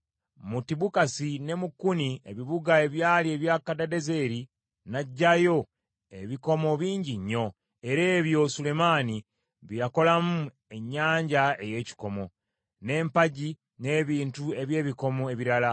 Mu Tibukasi ne mu Kuni, ebibuga ebyali ebya Kadadezeri n’aggyayo ebikomo bingi nnyo, era ebyo Sulemaani bye yakolamu ennyanja ey’ekikomo, n’empagi, n’ebintu eby’ebikomo ebirala.